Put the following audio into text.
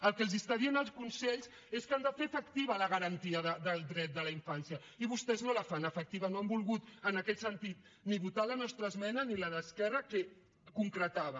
el que els està dient el consell és que han de fer efectiva la garantia del dret de la infància i vostès no la fan efectiva no han volgut en aquest sentit ni votar la nostra esmena ni la d’esquerra que concretava